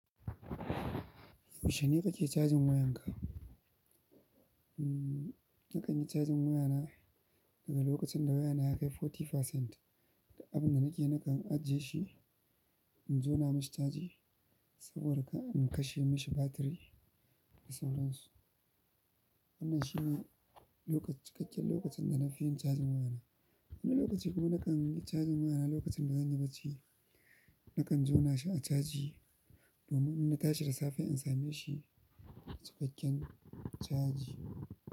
Yaushe ne kake cajin wayanka? Hmm, na kan yi cajin wayana daga lokacin da wayana ya kai arba'in%. Da abin da nake fin ajiye shi, in jona mashi caji saboda ka in kashe mashi batiri da sauransu. Wannan shine lokaci, cikakken lokacin da na fi yin cajin wayana. Wani lokaci kuma na kan yi cajin wayana lokacin da zan yi bacci. Na kan jona shi a caji domin in nashi da safe in same shi cikakken caji.